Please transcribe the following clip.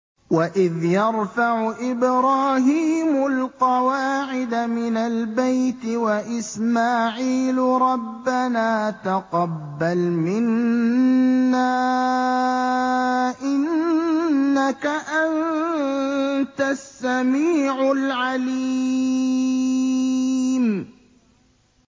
وَإِذْ يَرْفَعُ إِبْرَاهِيمُ الْقَوَاعِدَ مِنَ الْبَيْتِ وَإِسْمَاعِيلُ رَبَّنَا تَقَبَّلْ مِنَّا ۖ إِنَّكَ أَنتَ السَّمِيعُ الْعَلِيمُ